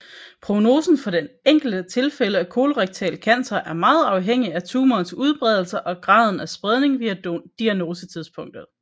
Prognosen for det enkelte tilfælde af kolorektal cancer er meget afhængigt af tumorens udbredelse og graden af spredning ved diagnosetidspunktet